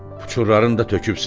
Puçurlarını da tökübsən.